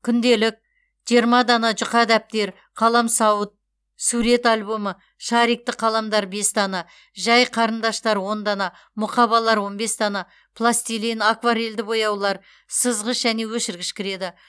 күнделік жиырма дана жұқа дәптер қаламсауыт сурет альбомы шарикті қаламдар бес дана жай қарындаштар он дана мұқабалар он бес дана пластилин акварельді бояулар сызғыш және өшіргіш кіреді